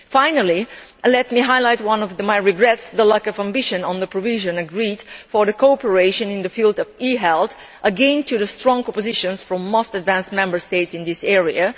Finally, let me highlight one of my regrets the lack of ambition of the provisions agreed for cooperation in the field of e health, again due to strong opposition from the most advanced Member States in this area.